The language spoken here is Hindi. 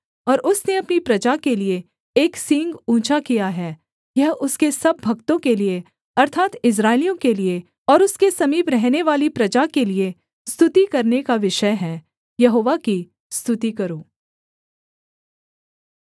और उसने अपनी प्रजा के लिये एक सींग ऊँचा किया है यह उसके सब भक्तों के लिये अर्थात् इस्राएलियों के लिये और उसके समीप रहनेवाली प्रजा के लिये स्तुति करने का विषय है यहोवा की स्तुति करो